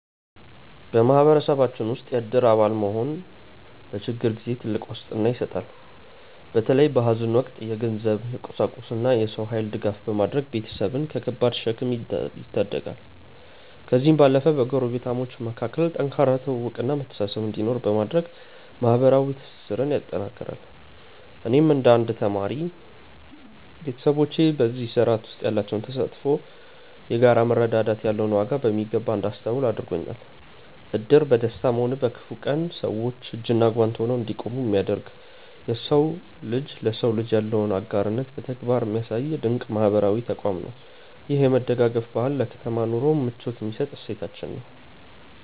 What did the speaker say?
በማህበረሰባችን ውስጥ የእድር አባል መሆን ለችግር ጊዜ ትልቅ ዋስትና ይሰጣል። በተለይ በሐዘን ወቅት የገንዘብ፣ የቁሳቁስና የሰው ኃይል ድጋፍ በማድረግ ቤተሰብን ከከባድ ሸክም ይታደጋል። ከዚህም ባለፈ በጎረቤታሞች መካከል ጠንካራ ትውውቅና መተሳሰብ እንዲኖር በማድረግ ማህበራዊ ትስስርን ያጠናክራል። እኔም እንደ አንድ ተማሪ፣ ቤተሰቦቼ በዚህ ስርዓት ውስጥ ያላቸው ተሳትፎ የጋራ መረዳዳት ያለውን ዋጋ በሚገባ እንዳስተውል አድርጎኛል። እድር በደስታም ሆነ በክፉ ቀን ሰዎች እጅና ጓንት ሆነው እንዲቆሙ የሚያደርግ፣ የሰው ልጅ ለሰው ልጅ ያለውን አጋርነት በተግባር የሚያሳይ ድንቅ ማህበራዊ ተቋም ነው። ይህ የመደጋገፍ ባህል ለከተማ ኑሮ ምቾት የሚሰጥ እሴታችን ነው።